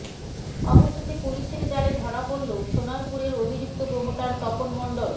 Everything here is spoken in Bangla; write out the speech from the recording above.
অবশেষে পুলিসের জালে ধরা পড়ল সোনারপুরের অভিযুক্ত প্রোমোটার তপন মণ্ডল